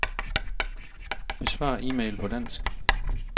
Besvar e-mail på dansk.